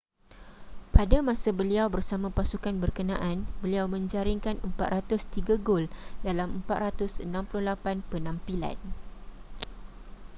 pada masa beliau bersama pasukan berkenaan beliau menjaringkan 403 gol dalam 468 penampilan